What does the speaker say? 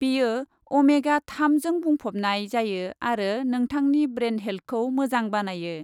बेयो अमेगा थामजों बुंफबनाय जायो आरो नोंथांनि ब्रेन हेल्थखौ मोजां बानायो।